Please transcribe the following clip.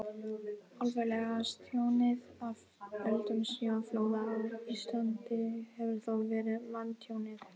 alvarlegasta tjónið af völdum snjóflóða á íslandi hefur þó verið manntjónið